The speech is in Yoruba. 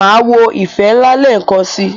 Máa wo "ìfẹ́ ńlá" lẹ́ẹ̀kan si.